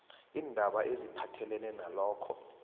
iindaba eziphathelene nalokho